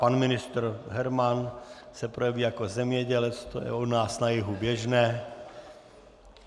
Pan ministr Herman se projeví jako zemědělec, to je u nás na jihu běžné.